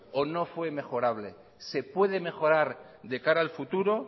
o no fue mejorable se puede mejorar de cara al futuro